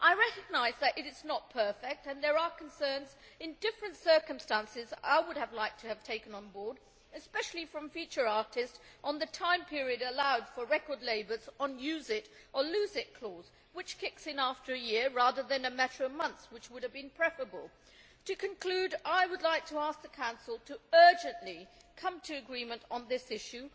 I recognise that it is not perfect and that there are concerns. In different circumstances I would have liked it to have addressed, especially for featured artists, the time period allowed for record labels under the use it or lose it' clause, which kicks in after a year rather than after a matter of months, which would have been preferable. To conclude, I would ask the Council urgently to come to agreement on this issue.